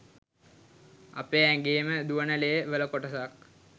අපේ ඇගේම දුවන ලේ වල කොටසක්